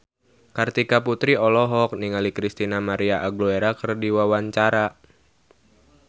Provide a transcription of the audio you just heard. Kartika Putri olohok ningali Christina María Aguilera keur diwawancara